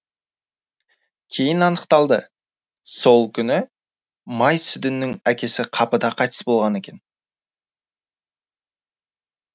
кейін анықталды сол күні май сүдіннің әкесі қапыда қайтыс болған екен